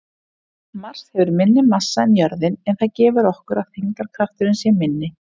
Mars hefur minni massa en jörðin en það gefur okkur að þyngdarkrafturinn sé minni.